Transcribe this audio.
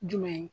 Jumɛn ye